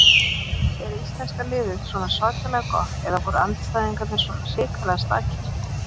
Er íslenska liðið svona svakalega gott eða voru andstæðingarnir svona hrikalega slakir?